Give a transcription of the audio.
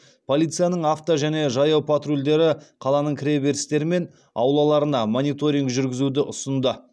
полицияның авто және жаяу патрульдері қаланың кіреберістері мен аулаларына мониторинг жүргізуді ұсынды